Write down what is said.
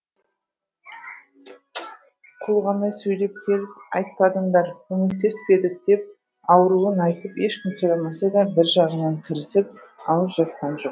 құлғанай сөйлеп келіп айтпадыңдар көмектеспес пе едік деп ауруын айтып ешкім сұрамаса да бір жағынан кірісіп ауыз жапқан жоқ